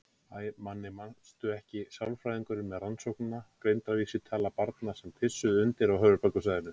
Æ, Manni manstu ekki, sálfræðingurinn með Rannsóknina: Greindarvísitala barna sem pissuðu undir á höfuðborgarsvæðinu.